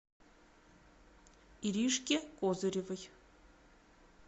иришке козыревой